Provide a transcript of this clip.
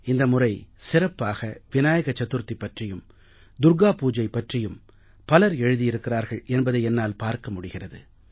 இந்த முறை சிறப்பாக விநாயக சதுர்த்தி பற்றியும் துர்க்கா பூஜா பற்றியும் பலர எழுதியிருக்கிறார்கள் என்பதை என்னால் பார்க்க முடிகிறது